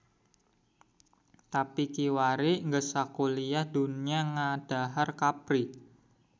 Tapi kiwari geus sakuliah dunya ngadahar kapri.